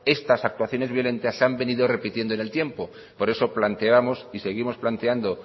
estas actuaciones violentas se han venido repitiendo en el tiempo por eso planteamos y seguimos planteando